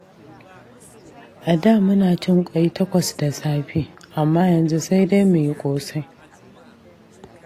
A da muna cin ƙwai takwas da safe, amma yanzu sai dai mu yi ƙosai.